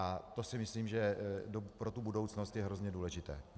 A to si myslím, že pro tu budoucnost je hrozně důležité.